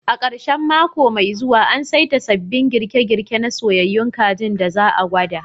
A ƙarshen mako mai zuwa, an saita sabbin girke-girke na soyyayun kajin da za a gwada